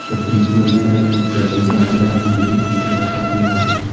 Tibbiy ko‘rikdan o‘tkazilganidan keyin sug‘urta qilinadi.